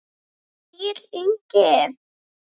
Egill Ingi.